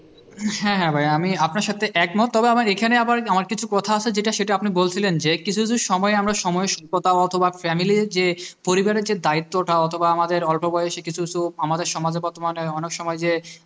হ্যাঁ হ্যাঁ ভাইয়া আমি আপনার সাথে একমত তবে আমার এখানে আবার আমার কিছু কথা আছে যেটা আপনি বলছিলেন যে কিছু কিছু সময়ে আমরা সময় কথা অথবা family র যে পরিবারের যে দায়িত্বটা অথবা আমাদের অল্প বয়সের কিছু কিছু আমাদের সমাজের বর্তমানে অনেক সময় যে